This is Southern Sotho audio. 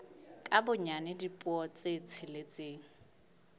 ka bonyane dipuo tse tsheletseng